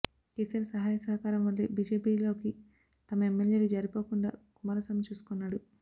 కేసీఆర్ సహాయ సహకారం వల్లే బీజేపీలోకి తమ ఎమ్మెల్యేలు జారిపోకుండా కుమార స్వామి చూసుకున్నాడు